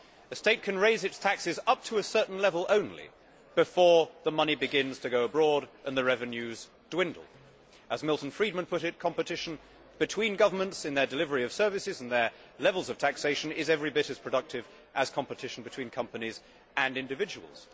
A state can raise its taxes only up to a certain level before the money begins to go abroad and the revenues dwindle. As Milton Friedman put it, competition between governments in their delivery of services and their levels of taxation is every bit as productive as competition between companies and individuals.